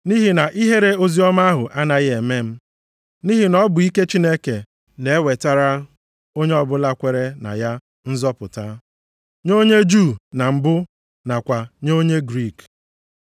Nʼihi na ihere oziọma ahụ anaghị eme m, nʼihi na ọ bụ ike Chineke na-ewetara onye ọbụla kwere na ya nzọpụta, nye onye Juu na mbụ nakwa nye onye Griik.